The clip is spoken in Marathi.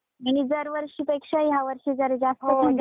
आणि दरवर्षी पेक्षा यावर्षी जरा जास्त